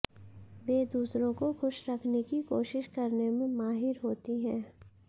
वे दूसरों को खुश रखने की कोशिश करने में माहिर होती हैं